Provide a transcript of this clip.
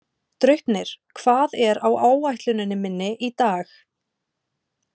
Draupnir, hvað er á áætluninni minni í dag?